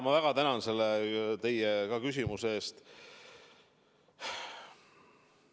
Ma väga tänan selle teie küsimuse eest.